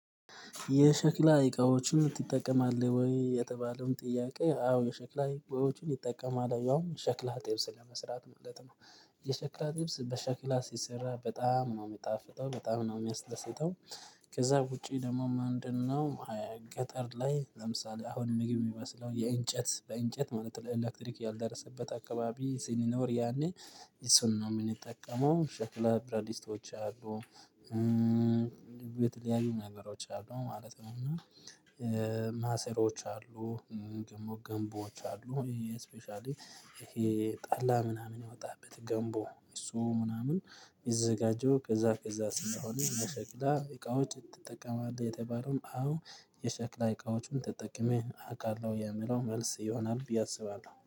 የሸክላ አይቃዎችን ትጠቀማለህ ወይ? የተባለውን ጥያቄ አዎ የሸክላ አይቃዎችን ይጠቀማለህ ያውም ሸክላ ጥብስ ለመስራት ማለት ነው። የሸክላ ጥብስ በሸክላ ሲሰራ በጣም ነው የሚጣፍጠው በጣም ነው የሚያስደሰተው። ከዛ ውጪ ደግሞ ማንድን ነው? ገጠር ላይ ለምሳሌ አሁን ምግብ የሚመስለው የእንጨት በእንጨት ማለት ነው ኤሌክትሪክ ያልደረሰበት አካባቢ ሲኖር ያኔ እሱን ነው የሚጠቀመው ሸክለ ፕራዲስቶች አሉ። የተለያዩ ነገሮች አሉ ማለት ነው። እና ማሰሮዎች አሉ። ገንቦዎች አሉ ይሄ ስፔሻሊ ይሄ ጣላ ምናምን ያወጣህበት ገንቦ እሱ ምናምን ይዘጋጀው። ከዛ ከዛ ስለሆነ የሸክላ እቃዎች ትጠቀማለህ የተባለውም አዎ የሸክላ እቃዎቹን ተጠቅሜ አውቃለሁ የምለው መልስ ይሆናል ብዬ አስባለሁ